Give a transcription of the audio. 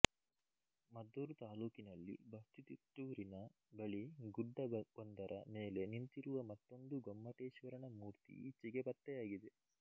ಮದ್ದೂರು ತಾಲ್ಲೂಕಿನಲ್ಲಿ ಬಸ್ತಿತಿಪ್ಟೂರಿನ ಬಳಿ ಗುಡ್ಡ ಒಂದರ ಮೇಲೆ ನಿಂತಿರುವ ಮತ್ತೊಂದು ಗೊಮ್ಮಟೇಶ್ವರನ ಮೂರ್ತಿ ಈಚೆಗೆ ಪತ್ತೆಯಾಗಿದೆ